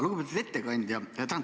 Lugupeetud ettekandja!